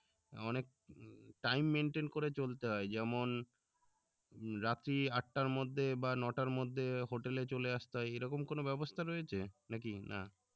অনেক time, maintain করে চলতে হয়, যেমন রাত্রি আটটার মধ্যে বা নয়টার মধ্যে hotel এ চলে আসতে হয় এরকম কোনো ব্যবস্থা রয়েছে নাকি না